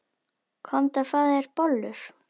Komdu og fáðu þér bollur.